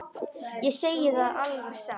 Ég segi það alveg satt.